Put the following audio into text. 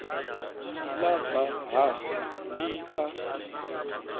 ḽa ḓa hafha ḽi a